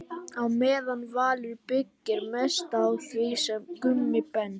Á meðan Valur byggir mest á því sem Gummi Ben.